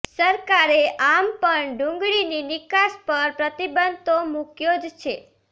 સરકારે આમ પણ ડુંગળીની નિકાસ પર પ્રતિબંધ તો મૂક્યો જ છે